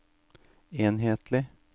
enhetlig